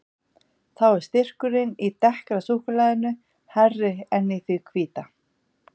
Þó er styrkurinn í dekkra súkkulaðinu hærri en í því hvíta.